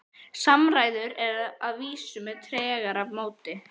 Samræður að vísu með tregara móti.